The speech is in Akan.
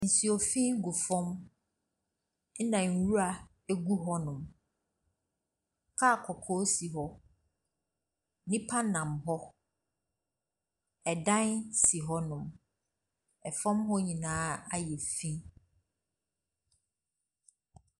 Nsuo fi gu fam ɛna nwura agu fam hɔ nom. Kaa kɔkɔɔ si hɔ Nnipa nam hɔ. Ɛsan si hɔ nom. Ɛfam hɔ nyinaa ayɛ fi.